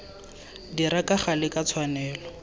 dira ka gale ka tshwanelo